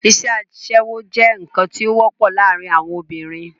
isẹ́ asẹ́wó jẹ́ ǹkan tí ó wọ́pọ̀ láàrin àwon obìnrin